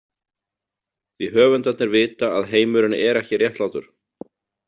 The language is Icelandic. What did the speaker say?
Því höfundarnir vita að heimurinn er ekki réttlátur.